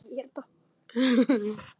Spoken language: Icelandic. Hvíl í friði Guðs.